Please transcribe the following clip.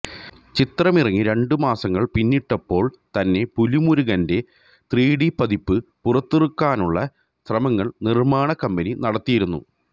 ചിത്രമിറങ്ങി രണ്ടു മാസങ്ങള് പിന്നിട്ടപ്പോള് തന്നെ പുലിമുരുകന്റെ ത്രിഡി പതിപ്പ് പുറത്തിറക്കാനുള്ള ശ്രമങ്ങള് നിര്മാണ കമ്പനി നടത്തിയിരുന്നു